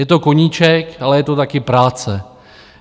Je to koníček, ale je to taky práce.